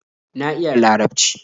Na iya Larabci